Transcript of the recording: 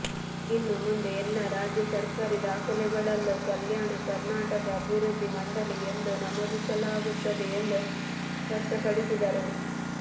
ಇನ್ನು ಮುಂದೆ ಎಲ್ಲಾ ರಾಜ್ಯ ಸರ್ಕಾರಿ ದಾಖಲೆಗಳಲ್ಲೂ ಕಲ್ಯಾಣ ಕರ್ನಾಟಕ ಅಭಿವೃದ್ಧಿ ಮಂಡಳಿ ಎಂದು ನಮೂದಿಸಲಾಗುತ್ತದೆ ಎಂದು ಸ್ಪಷ್ಟಪಡಿಸಿದರು